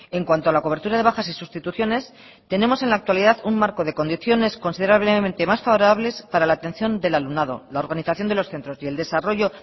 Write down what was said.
en cuanto a la cobertura de bajas y sustituciones tenemos en la actualidad un marco de condiciones considerablemente más favorables para la atención del alumnado la organización de los centros y el desarrollo